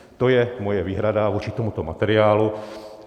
To je moje výhrada vůči tomuto materiálu.